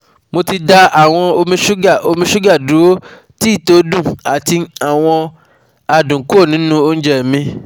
Mo ti dá awon omi sugar omi sugar duro, tea to dun, ati adun kuro ninu ounje mi